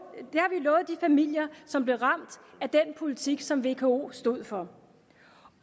de familier som blev ramt af den politik som vko stod for